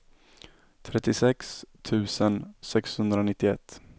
trettiosex tusen sexhundranittioett